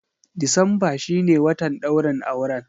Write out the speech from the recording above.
Decemba shi ne watan ɗaurin auren.